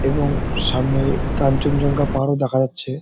এবং সামনে কাঞ্চনজঙ্ঘা পাহাড়ও দেখা যাচ্ছে।